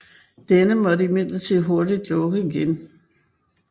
Denne måtte imidlertid hurtigt lukke igen